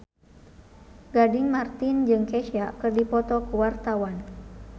Gading Marten jeung Kesha keur dipoto ku wartawan